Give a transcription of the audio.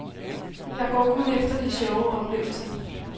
Jeg går kun efter de sjove oplevelser.